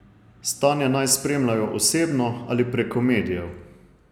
Stanje naj spremljajo osebno ali preko medijev.